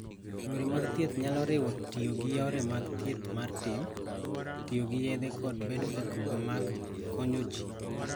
Yore mag thieth nyalo riwo tiyo gi yore mag thieth mar tim, tiyo gi yedhe, kod bedo e grube mag konyo ji.